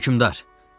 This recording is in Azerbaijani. Hökmdar.